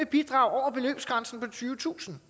bidrag over beløbsgrænsen på tyvetusind